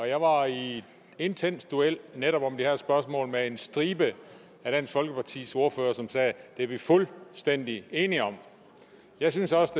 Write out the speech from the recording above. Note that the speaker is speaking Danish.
jeg var i en intens duel netop om det her spørgsmål med en stribe af dansk folkepartis ordførere som sagde det er vi fuldstændig enige om jeg synes også